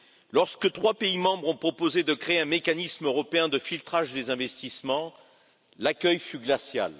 Lorsque trois pays membres ont proposé de créer un mécanisme européen de filtrage des investissements, l'accueil fut glacial.